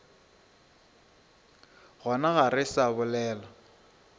gona ga re sa bolela